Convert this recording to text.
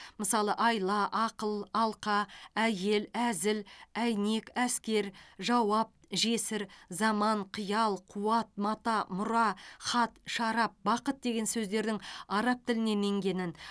мысалы айла ақыл алқа әйел әзіл әйнек әскер жауап жесір заман қиял қуат мата мұра хат шарап бақыт деген сөздердің араб тілінен енгенін